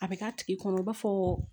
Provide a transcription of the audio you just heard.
A bɛ k'a tigi kɔnɔ i b'a fɔ